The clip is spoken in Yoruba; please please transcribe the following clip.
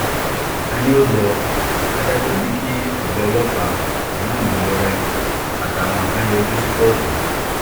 ta-ní-olọ adájọ́ ní kí ọ̀gá ọlọ́pàá ìmáàmù ìlọrin àtàwọn kan yọjú sí kóòtù